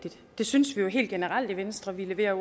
og det synes vi helt generelt i venstre vi lever